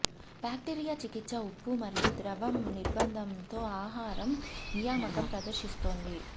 bacteria చికిత్స ఉప్పు మరియు ద్రవం నిర్బంధం తో ఆహారం నియామకం ప్రదర్శిస్తోంది